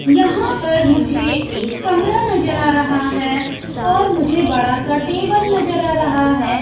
यहां पर मुझे एक कमरा नजर आ रहा है और मुझे बड़ा सा टेबल नजर आ रहा है।